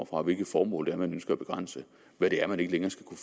fra hvilke formål man ønsker at begrænse hvad det er man ikke længere skal kunne